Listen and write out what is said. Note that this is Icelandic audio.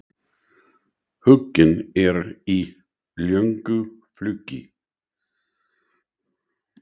Huginn er í löngu flugi.